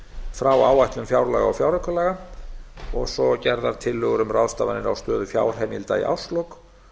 frá áætlun fjárlaga og fjáraukalaga og svo gerðar tillögur um ráðstafanir á stöðu fjárheimilda í árslok